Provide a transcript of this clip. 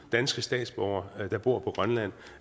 danske statsborgere der bor på grønland